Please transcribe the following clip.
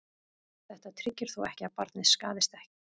Þetta tryggir þó ekki að barnið skaðist ekki.